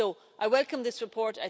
I welcome this report.